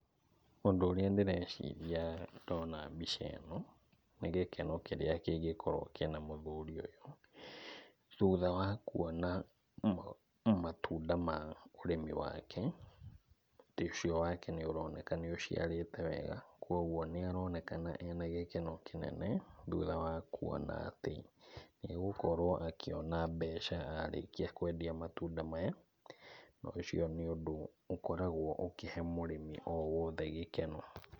Ũndũ ũrĩa ndĩreciria ndona mbica ĩno, nĩ gĩkeno kĩrĩa kĩngĩkorwo kĩna mũthuri ũyũ, thutha wa kuona matunda ma ũrĩmi wake, mũtĩ ũcio wake nĩ ũroneka nĩ ũciarĩte wega, kwoguo nĩ aronekana ena gĩkeno kĩnene, thutha wa kuona atĩ, nĩ egukorwo akĩona mbeca arĩkĩa kwendia matunda maya, na ũcio nĩ ũndũ ũkoragwo ũkĩhe mũrĩmi o wothe gĩkeno.